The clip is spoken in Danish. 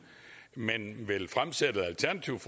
men vil fremsætte et alternativt